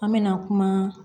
An me na kuma